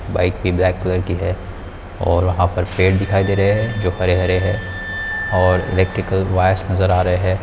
Bike भी black colour की है और वहाँ पर पेड़ दिखाई दे रहे है जो हरे हरे है और इलेक्ट्रिक वायर्स नजर आ रहे है।